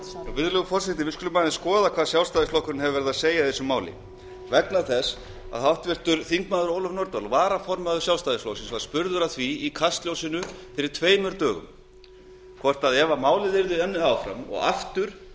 virðulegur forseti við skulum aðeins skoða hvað sjálfstæðisflokkurinn hefur verið að segja í þessu máli háttvirts þingmanns ólöf nordal varaformaður sjálfstæðisflokksins var spurð að því í kastljósi fyrir tveimur dögum hvort sjálfstæðisflokkurinn mundi styðja málið ef það yrði unnið áfram og aftur